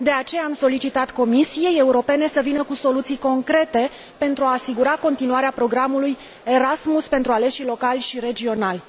De aceea, am solicitat Comisiei Europene să vină cu soluții concrete pentru a asigura continuarea programului Erasmus pentru aleșii locali și regionali.